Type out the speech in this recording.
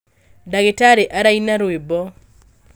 Ndagĩtarĩ araina rwĩmbo